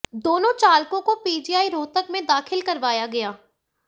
दोनों चालकों को पीजीआई रोहतक में दाखिल करवाया गया